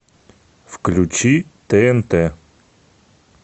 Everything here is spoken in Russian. включи тнт